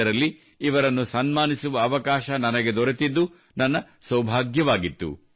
2015 ರಲ್ಲಿ ಇವರನ್ನು ಸನ್ಮಾನಿಸುವ ಅವಕಾಶ ನನಗೆ ದೊರೆತಿದ್ದು ನನ್ನ ಸೌಭಾಗ್ಯವಾಗಿತ್ತು